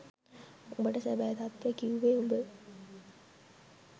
උබට සැබෑ තත්වෙ කිව්වෙ උබ